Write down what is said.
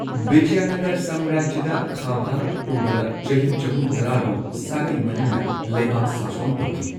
ꯕꯤꯖꯌꯅꯒꯔ ꯁꯥꯝꯔꯥꯖ꯭ꯌꯗ ꯈꯥ ꯚꯥꯔꯠ ꯄꯨꯝꯕꯗ ꯆꯍꯤ ꯆꯍꯨꯝ ꯇꯔꯥ ꯔꯣꯝ ꯁꯥꯒꯩ ꯃꯔꯤꯅ ꯂꯩꯕꯥꯛ ꯁꯥꯁꯣꯟ ꯇꯧꯈꯤ꯫